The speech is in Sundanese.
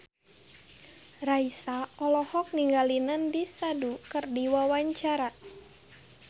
Raisa olohok ningali Nandish Sandhu keur diwawancara